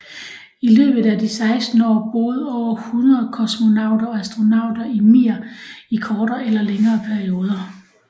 I løbet af de 16 år boede over 100 kosmonauter og astronauter i Mir i kortere eller længere perioder